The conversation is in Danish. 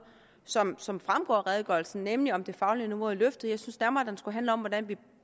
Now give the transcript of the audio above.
som som fremgår af redegørelsen nemlig om det faglige niveau er løftet jeg synes nærmere at den skulle handle om hvordan vi